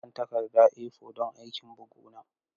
Na fi son takarda A4 don aikin bugu na.